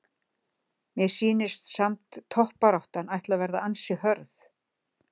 Mér sýnist samt toppbaráttan ætli að vera býsna hörð!